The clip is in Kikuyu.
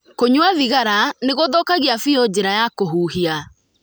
Kũnyua thigara nĩ gũthũkagia biũ njĩra ya kũhuhia.